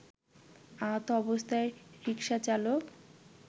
আহত অবস্থায় রিকসাচালক